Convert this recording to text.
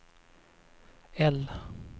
L